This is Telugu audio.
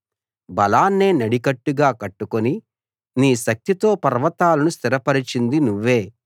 బలాన్నే నడికట్టుగా కట్టుకుని నీ శక్తితో పర్వతాలను స్థిరపరచింది నువ్వే